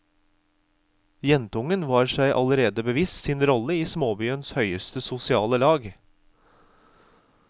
Jentungen var seg allerede bevisst sin rolle i småbyens høyeste sosiale lag.